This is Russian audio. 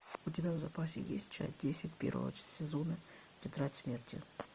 у тебя в запасе есть часть десять первого сезона тетрадь смерти